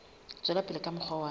tswela pele ka mokgwa wa